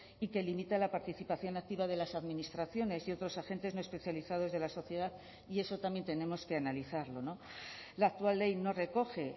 y que limita la participación activa de las administraciones y otros agentes no especializados de la sociedad y eso también tenemos que analizarlo la actual ley no recoge